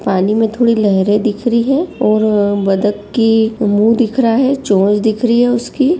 पानी में थोड़ी लहरें दिख रही हैं और बदक की मुँह दिख रहा है चोंच दिख रही है उसकी।